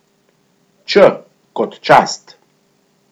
Č kot Čast.